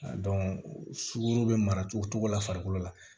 sukoro bɛ mara cogo o cogo la farikolo la